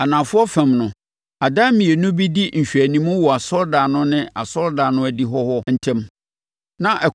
Anafoɔ fam no, adan mmienu bi di nhwɛanim wɔ asɔredan no ne asɔredan no adihɔ hɔ ntam, na